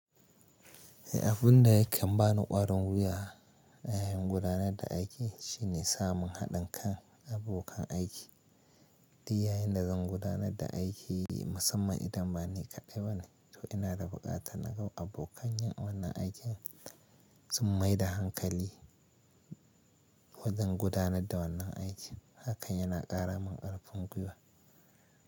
Eh, abunda yakan bani ƙwarin wuya a yayin gudanar da aiki shine samun haɗin kan abokan aiki. Duk yayin da zan gudanar da aiki musamman idan ba ni kaɗai ba ne, to ina da buƙatar naga abokan yin wannan aikin sun maida hankali wajen gudanar da wannan aikin. Hakan yana ƙara min ƙarfin guiwa.